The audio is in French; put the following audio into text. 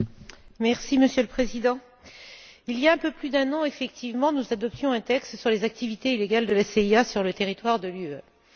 Monsieur le Président, il y a un peu plus d'un an, effectivement, nous adoptions un texte sur les activités illégales de la CIA sur le territoire de l'Union européenne.